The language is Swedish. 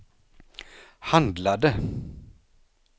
handlade